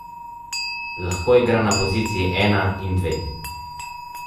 Lahko igra na poziciji ena in dve.